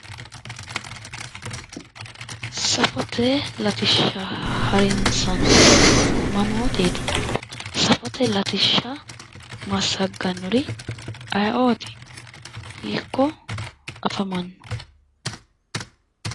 Safote latishsha harinsannihu mamooteeti? Safote latishsha massagganniri aye"oti? Hiikko afamanno